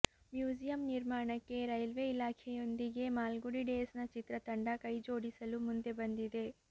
museum ನಿರ್ಮಾಣಕ್ಕೆ railway ಇಲಾಖೆಯೊಂದಿಗೆ ಮಾಲ್ಗುಡಿ ಡೇಸ್ನ ಚಿತ್ರತಂಡ ಕೈ ಜೋಡಿಸಲು ಮುಂದೆ ಬಂದಿದೆ